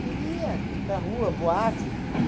Queria ir para a rua, boate.